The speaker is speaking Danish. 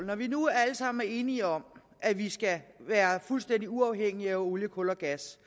når vi nu alle sammen er enige om at vi skal være fuldstændig uafhængige af olie kul og gas